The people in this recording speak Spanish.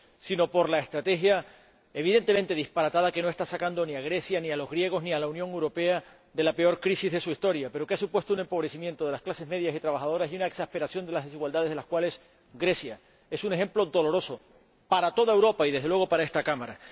sino por la estrategia —evidentemente disparatada— que no está sacando ni a Grecia, ni a los griegos ni a la Unión Europea de la peor crisis de su historia, pero que ha supuesto un empobrecimiento de las clases medias y trabajadoras y una exasperación de las desigualdades de las cuales Grecia es un ejemplo doloroso para toda Europa y, desde luego, para esta Cámara.